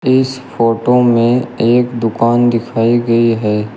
इस फोटो में एक दुकान दिखाई गई है।